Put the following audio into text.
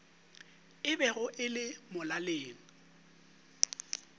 e bego e le molaleng